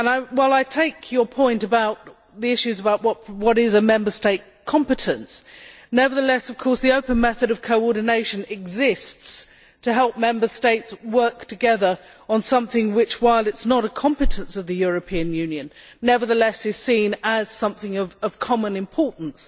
While I take your point about the issues about what is a Member State competence, nevertheless, the open method of coordination exists to help Member States work together on something which, while it is not a competence of the European Union, nevertheless is seen as something of common importance.